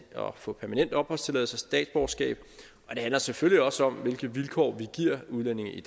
at få permanent opholdstilladelse og statsborgerskab og det handler selvfølgelig også om hvilke vilkår vi giver udlændinge i